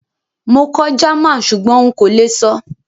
Mo kọ́ German súgbón n kó le sọ́